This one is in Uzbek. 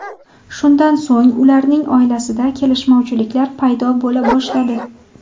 Shundan so‘ng ularning oilasida kelishmovchiliklar paydo bo‘la boshladi.